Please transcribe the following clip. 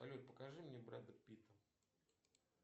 салют покажи мне брэда питта